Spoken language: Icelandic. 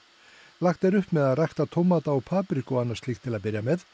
lagt er upp með að rækta tómata og papriku og annað slíkt til að byrja með